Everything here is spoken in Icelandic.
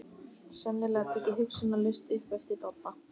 Sennilega tekið hugsunarlaust upp eftir Dodda.